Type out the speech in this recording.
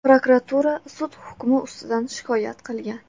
Prokuratura sud hukmi ustidan shikoyat qilgan.